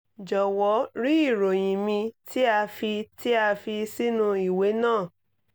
jọwọ rí ìròyìn mi tí a fi tí a fi sínú ìwé náà